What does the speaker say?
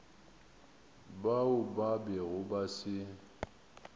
bao ba bego ba se